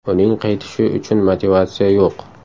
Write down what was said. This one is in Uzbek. Uning qaytishi uchun motivatsiya yo‘q.